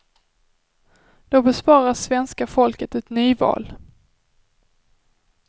Då besparas svenska folket ett nyval.